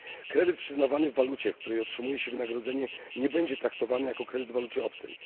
Kredyt przyznawany w walucie, w której otrzymuje się wynagrodzenie, nie będzie traktowany jako kredyt w walucie obcej.